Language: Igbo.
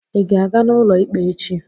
Ị ga-aga n'ụlọ ikpe echi?